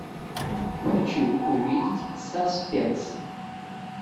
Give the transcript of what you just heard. хочу увидеть саспенс